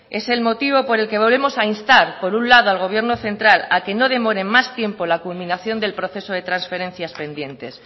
es el motivo por el que volvemos a instar por un lado al gobierno central a que no demore más tiempo la culminación del proceso de transferencias pendientes